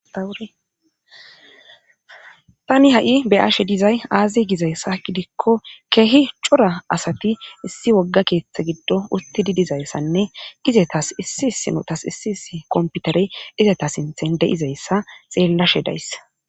Taani ha'i be'ashe dizayssi aaze gizayssa gidikko keehi cora asati issi wogga keeththan gidon uttidi dizayssanne izatas issi issinotas issi issi kompitereiss izata sinthan dizayssa xeelashe days.